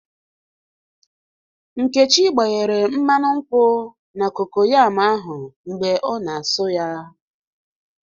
Nkechi gbanyere mmanu nkwu na kokoyam ahụ mgbe ọ na-asụ ya